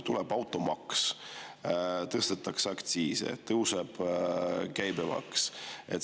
Tuleb automaks, tõstetakse aktsiise, tõuseb käibemaks.